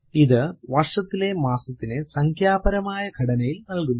ഇത് വർഷത്തിലെ മാസത്തിനെ സംഖ്യാപരമായ ഘടനയിൽ നൽകുന്നു